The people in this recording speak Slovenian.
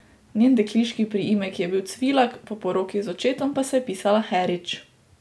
Njen dekliški priimek je bil Cvilak, po poroki z očetom pa se je pisala Herič.